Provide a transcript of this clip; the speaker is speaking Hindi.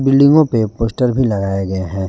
बिल्डिंगो पे पोस्टर भी लगाया गया है।